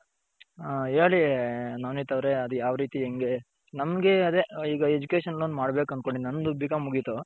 ಹ ಹೇಳಿ ನವನಿತ್ ಅವರೇ ಅದು ಯಾವ್ ರೀತಿ ಹೆಂಗೆ ನಂಗೆ ಅದೇ ಈಗ education loan ಮಾಡ್ಬೇಕ್ ಅಂದ್ಕೊಂಡಿದೀನಿ ನಂದು ಬಿ .ಕಾಂ ಮುಗಿತು.